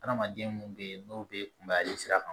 Adamaden mun bɛ yen n'o bɛ kunbayali sira kan